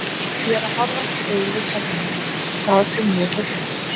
Ég er að horfast í augu við sjálfan mig og það sem ég hef gert.